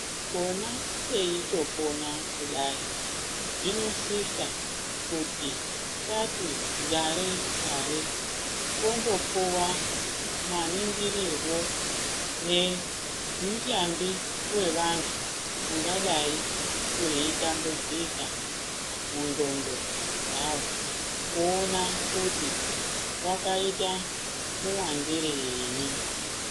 Pona peitopona kudai zvinosisa kuti tati gare-gare tombopuwa maningirirwo nemihlambi wevantu ungadai weitambudzika mundxondo dzawo kuona kuti vakaita muwandirei.